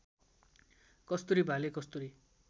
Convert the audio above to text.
कस्तुरी भाले कस्तुरी